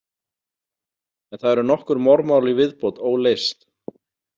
En það eru nokkur morðmál í viðbót óleyst.